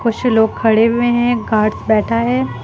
कुछ लोग खड़े हुए है गार्ड बैठा है।